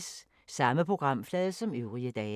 Samme programflade som øvrige dage